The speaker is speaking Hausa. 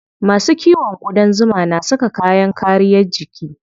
Masu kiwon ƙudan zuma na saka kayan kariyar jiki.